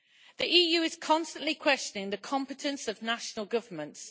The EU is constantly questioning the competence of national governments.